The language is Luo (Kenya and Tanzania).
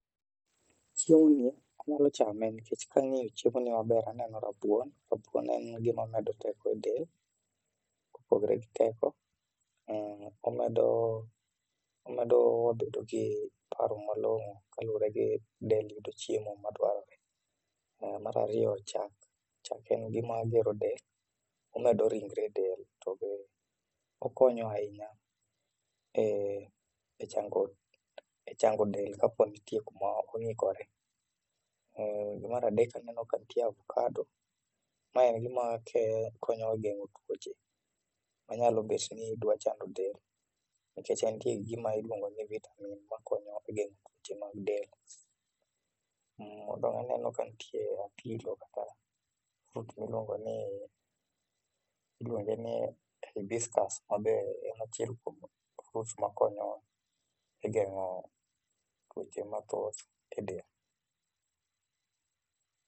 Chiemo ni anyalo chame nikech kang'iyo chiemo ni maber aneno rabuon, rabuon en gima medo teko e del, kopogore gi teko, omedo bedo gi paro malongo kaluore gi del yudo chiemo ma dwarore. Mar ariyo chak, chak en gima gero del, omedo ringre del tobe okonyo ahinya e chango del kapo nitie kama ong'ikore. Mar adek aneno ka nitie ovakado ,mae en gima konyo gengo tuoche manyalo bet ni dwa chando del nikech entie gima iluongo ni vitamin makonyo e gengo tuoche mag del. Modong aneno ka nitie apilo kata fruit miluongo ni ,iluonge ni hibiscus mabe en achiel kuom fruits makonyowa e gengo tuoche mathoth e del